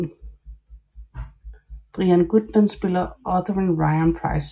Brian Goodman spillede Otheren Ryan Pryce